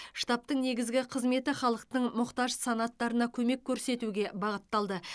штабтың негізгі қызметі халықтың мұқтаж санаттарына көмек көрсетуге бағытталды